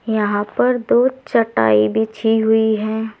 यहां पर दोचटाई बिछी हुई है।